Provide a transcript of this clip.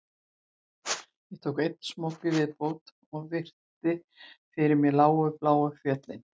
Ég tek einn smók í viðbót og virði fyrir mér lágu bláu fjöll